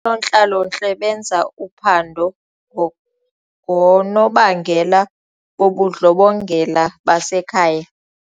Oonontlalontle benza uphando ngoonobangela bobundlobongela basekhaya.